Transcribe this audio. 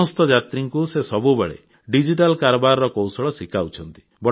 ସମସ୍ତ ଯାତ୍ରୀଙ୍କୁ ସେ ସବୁବେଳେ ଡିଜିଟାଲ କାରବାରର କୌଶଳ ଶିଖାଉଛନ୍ତି